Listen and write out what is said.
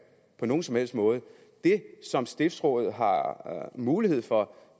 på nogen som helst måde det som stiftsrådet har mulighed for